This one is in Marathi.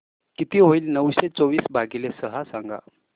किती होईल नऊशे चोवीस भागीले सहा सांगा